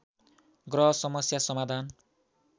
ग्रह समस्या समाधान